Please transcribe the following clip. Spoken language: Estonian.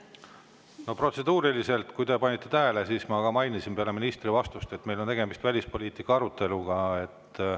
No protseduuriliselt, kui te panite tähele, siis ma mainisin peale ministri vastust, et meil on tegemist välispoliitika aruteluga.